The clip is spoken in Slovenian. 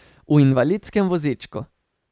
V invalidskem vozičku.